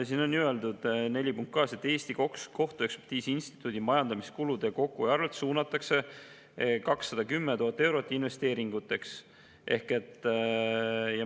Siin on ju öeldud, punkt 4.2: Eesti Kohtuekspertiisi Instituudi majandamiskulude kokkuhoiu arvelt suunatakse 210 000 eurot investeeringuteks.